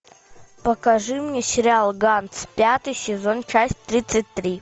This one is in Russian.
покажи мне сериал ганс пятый сезон часть тридцать три